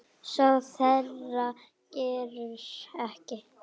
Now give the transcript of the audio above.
Sár þeirra greru ekki.